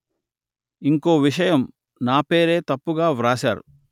ఇంకో విషయం నా పేరే తప్పుగా వ్రాశారు